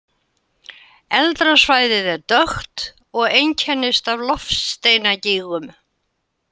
Eldra svæðið er dökkt og einkennist af loftsteinagígum.